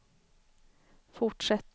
fortsätter